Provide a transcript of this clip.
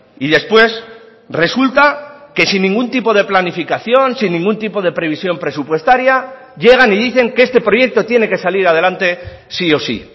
y después resulta que sin ningún tipo de planificación sin ningún tipo de previsión presupuestaria llegan y dicen que este proyecto tiene que salir adelante sí o sí